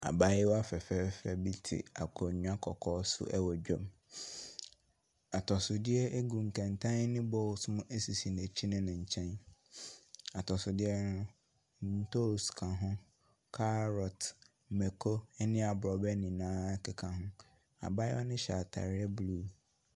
Abaayewa fɛfɛɛfɛ bi te akonwa kɔkɔɔ so ɛwɔ dwom. Atɔsodeɛ egu nkɛnten ne bowls mu esisi n'akyi ne ne nkyɛn. Atɔsodeɛ no ntos ka ho, carrot, mɛko ɛne abrɔbɛ nyinaa keka ho. Abaayewa no hyɛ ataadeɛ blue.